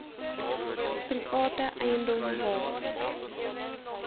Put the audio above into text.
private eiendom waar